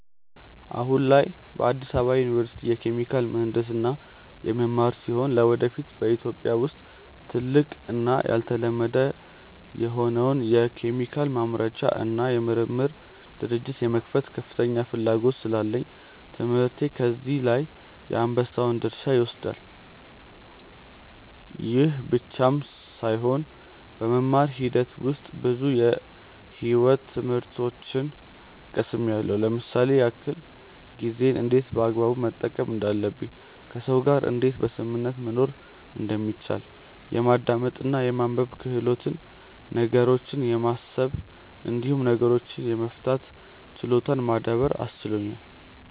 አሁን ላይ በአዲስ አበባ ዩኒቨርሲቲ የኬሚካል ምሕንድስና የምማር ሲሆን ለወደፊት በኢትዮጵያ ውስጥ ትልቅ እና ያልተለመደ የሆነውን የኬሚካል ማምረቻ እና የምርምር ድርጅት የመክፈት ከፍተኛ ፍላጎት ስላለኝ ትምህርቴ በዚህ ላይ የአንበሳውን ድርሻ ይወስዳል። ይህ ብቻም ሳይሆን በመማር ሂደት ውስጥ ብዙ የሕይወት ትምህርቶችን ቀስምያለው ለምሳሌ ያክል፦ ጊዜን እንዴት በአግባቡ መጠቀም እንዳለብኝ፣ ከሰዎች ጋር እንዴት በስምምነት መኖር እንደሚቻል፣ የማዳመጥ እና የማንበብ ክህሎትን፣ ነገሮችን የማሰብ እንዲሁም ችግሮችን የመፍታት ችሎታን ማዳበር አስችሎኛል።